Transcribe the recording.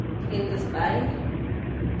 Lindesberg